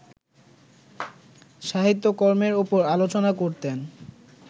সাহিত্যকর্মের ওপর আলোচনা করতেন